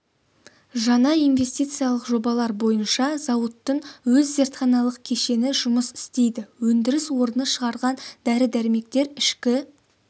жаңа инвестициялық жобалар бойынша зауыттың өз зертханалық кешені жұмыс істейді өндіріс орны шығарған дәрі-дәрмектер ішкі